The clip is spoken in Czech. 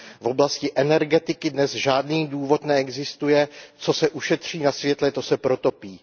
V oblasti energetiky dnes žádný důvod neexistuje, co se ušetří na světle, to se protopí.